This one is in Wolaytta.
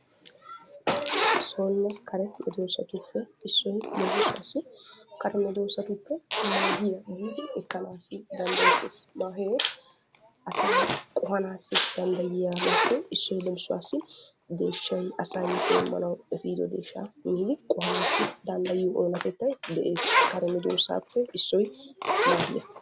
Sonne kare medoossatuppe issoy leemisuwaassi kare medoossatuppe maahiya giidi ekkanaassi danddayettes. Maahee asaa qohanaassi danddayiyaabaappe issoy leemisuwaassi deeshshay asay heemmanawu efiido deeshshaa miidi qohanaassi danddayiyo oonatettay de'es. Kare medoossaappe issoy maahiya.